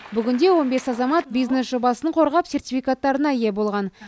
бүгінде он бес азамат бизнес жобасын қорғап сертификаттарына ие болған